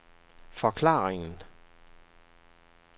forklaringen